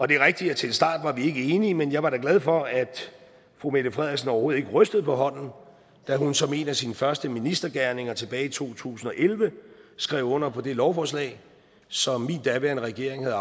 det er rigtigt at til en start var vi ikke enige men jeg er da glad for at fru mette frederiksen overhovedet ikke rystede på hånden da hun som en af sine første ministergerninger tilbage i to tusind og elleve skrev under på det lovforslag som min daværende regering havde